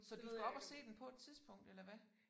Så du skal op og se den på et tidspunkt eller hvad